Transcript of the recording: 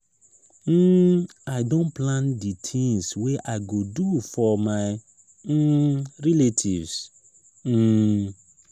um i don plan di tins wey i go do for my um relatives. um